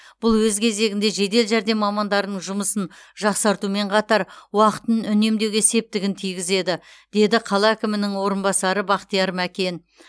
бұл өз кезегінде жедел жәрдем мамандарының жұмысын жақсартумен қатар уақытын үнемдеуге септігін тигізеді деді қала әкімінің орынбасары бақтияр мәкен